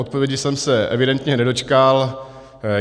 Odpovědi jsem se evidentně nedočkal.